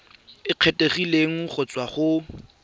e kgethegileng go tswa go